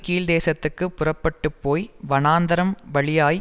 கிழக்குதேசத்துக்குப் புறப்பட்டு போய் வனாந்தரம்வழியாய்